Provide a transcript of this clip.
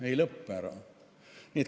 Ei lõpe.